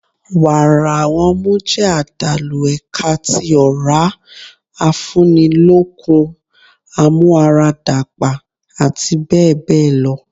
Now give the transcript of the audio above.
Wàrà ọmú jẹ́ àdàlù ẹ̀ka tí ọ̀rá, afúni lókun, amúara dàgbà àti bẹ́ẹ̀ bẹ́ẹ̀ lọ.